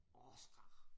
Oscar